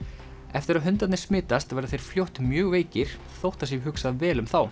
eftir að hundarnir smitast verða þeir fljótt mjög veikir þótt það sé hugsað vel um þá